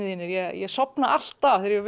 ég sofna alltaf þegar ég